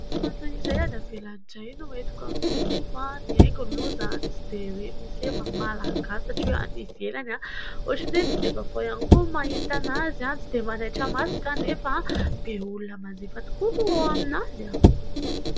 Fantina iray any ivelany indray no entiko amintsika eto. Ny haingo aloha izany tsy dia misy hoe maha Malagasy satria hoe any ivelany ; ohatrany hoe tsy dia vaovao ihany koa mahita an'izany ; tsy dia manaitra ny maso kanefa be olona manjifa tokoa ao aminazy ao.